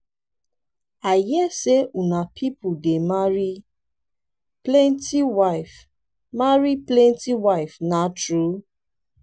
i hear say una people dey marry plenty wife marry plenty wife na true?